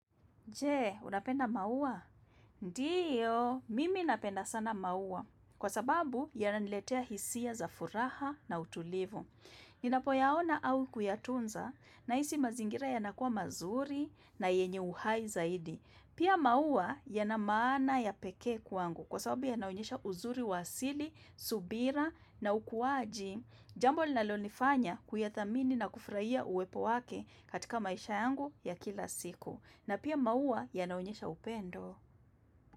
Je, unapenda maua? Ndiyo, mimi napenda sana maua. Kwa sababu, yananiletea hisia za furaha na utulivu. Ninapoyaona au kuyatunza, naisi mazingira yanakuwa mazuri na yenye uhai zaidi. Pia maua yana maana ya pekee kwangu. Kwa sababu yanaonyesha uzuri wa asili, subira na ukuaji, jambo linalonifanya kuyathamini na kufraia uwepo wake katika maisha yangu ya kila siku. Na pia maua yanaonyesha upendo.